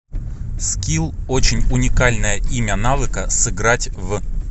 скилл очень уникальное имя навыка сыграть в